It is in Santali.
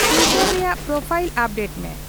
ᱴᱩᱭᱴᱟᱨ ᱨᱮᱭᱟᱜ ᱯᱚᱨᱯᱷᱟᱭᱤᱞ ᱟᱯᱰᱮᱴ ᱢᱮ